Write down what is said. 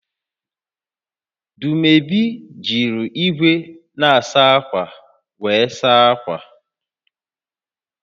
Dumebi jiri igwe na-asa akwa were saa akwa